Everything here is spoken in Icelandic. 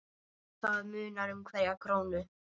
Það munar um hverja krónu.